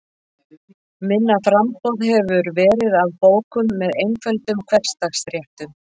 Minna framboð hefur verið af bókum með einföldum hversdagsréttum.